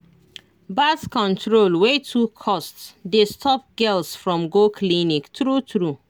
birth control wey too cost dey stop girls from go clinic true true